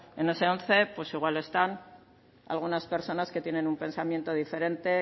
en ese once pues igual están algunas personas que tienen un pensamiento diferente